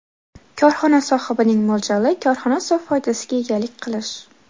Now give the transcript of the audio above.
Korxona sohibining mo‘ljali – korxona sof foydasiga egalik qilish.